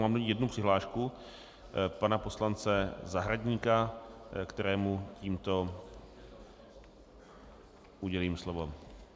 Mám do ní jednu přihlášku pana poslance Zahradníka, kterému tímto udělím slovo.